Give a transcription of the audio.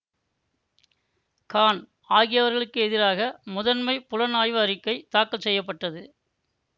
கான் ஆகியவர்களுக்கு எதிராக முதன்மை புலனாய்வு அறிக்கை தாக்கல் செய்ய பட்டது